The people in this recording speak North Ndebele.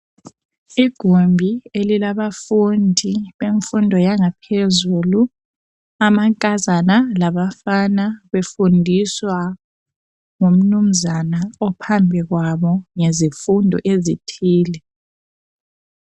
Igumbi elilabafundi bemfundo yangaphezulu amankazana labafana befundiswa ngumnunzana ophambi kwabo ngezifundo ezithile.